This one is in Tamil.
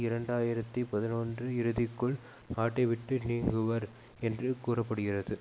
இரண்டு ஆயிரத்தி பதினொன்று இறுதிக்குள் நாட்டைவிட்ட நீங்குவர் என்று கூற படுகிறது